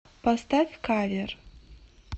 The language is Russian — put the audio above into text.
поставь кавер